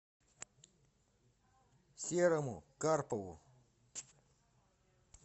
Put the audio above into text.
серому карпову